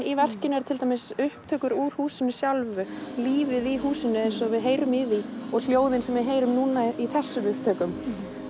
í verkinu er til dæmis upptökur úr húsinu sjálfu lífið í húsinu eins og við heyrum í því og hljóðin sem við heyrum núna í þessum upptökum